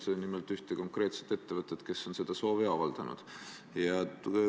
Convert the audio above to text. Nimelt pean silmas ühte konkreetset ettevõtet, kes on selleks soovi avaldanud.